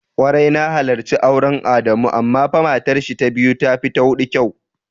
Kwarai na halarci auren Adamu amma fa matarshi ta biyu tafi ta hudun kyau.